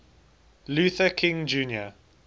luther king jr